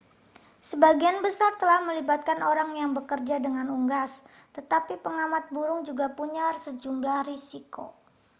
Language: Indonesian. sebagian besar telah melibatkan orang yang bekerja dengan unggas tetapi pengamat burung juga punya sejumlah risiko